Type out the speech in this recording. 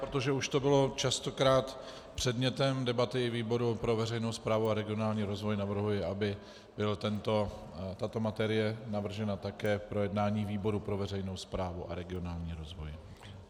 Protože už to bylo častokrát předmětem debaty výboru pro veřejnou správu a regionální rozvoj, navrhuji, aby byla tato materie navržena také k projednání výboru pro veřejnou správu a regionální rozvoj.